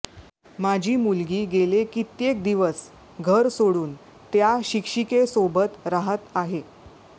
माझी मुलगी गेले कित्येक दिवस घर सोडून त्या शिक्षिकेसोबत राहत आहे